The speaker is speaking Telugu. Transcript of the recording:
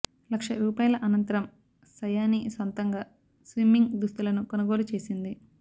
లక్ష రూపాయల అనంతరం సయానీ సొంతంగా స్విమ్మింగ్ దుస్తులను కొనుగోలు చేసింది